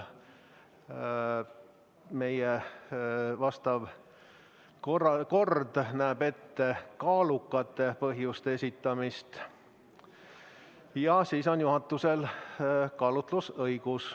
Meie kord näeb ette kaalukate põhjuste esitamist ja juhatusel on siis otsuse tegemisel kaalutlusõigus.